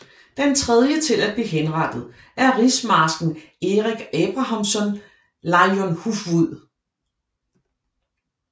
Den tredje til at blive henrettet er rigsmarsken Erik Abrahamsson Leijonhufvud